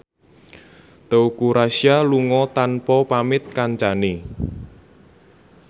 Teuku Rassya lunga tanpa pamit kancane